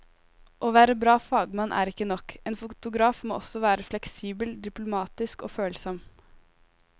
Å være bra fagmann er ikke nok, en fotograf må også være fleksibel, diplomatisk og følsom.